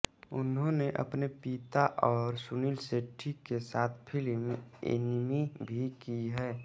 इन्होंने अपने पिता और सुनील शेट्टी के साथ फ़िल्म एनिमी भी की है